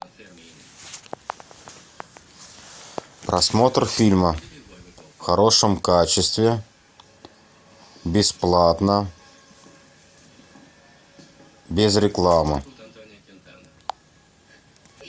просмотр фильма в хорошем качестве бесплатно без рекламы